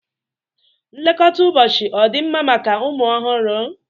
Nlekọta ụbọchị ọ dị mma maka ụmụ ọhụrụ?